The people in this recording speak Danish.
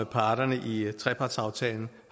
parterne i trepartsaftalen